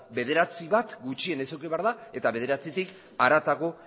bederatzi bat gutxienez eduki behar da eta bederatzitik harago